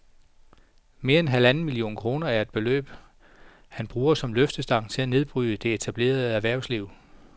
Mere end halvanden milliard kroner er det beløb, han bruger som løftestang til at nedbryde det etablerede erhvervsliv